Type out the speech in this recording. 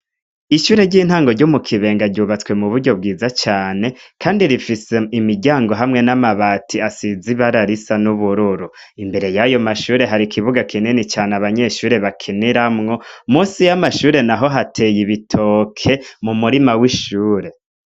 Ishure ry'intango ryo mukibenga ryubatswe m'uburyo bwiza cane kandi rifise imiryango hamwe n'amabati asize ibara risa n'ubururu. Imbere y'ayomashure har'ikibuga kinini cane abanyeshure bakiniramwo. Musi y'amashure naho hateye ibitoke m'umurima w'ishure.